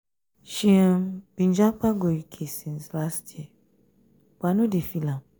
she um been japa go uk japa go uk since um last um year but i no dey feel am.